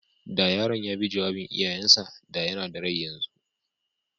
Da yaron ya bi jawabin iyayen sa, da yana da rai yanzu.